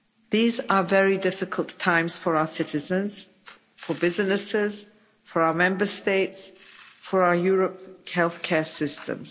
These are very difficult times for our citizens, for businesses, for our Member States, for our European health care systems.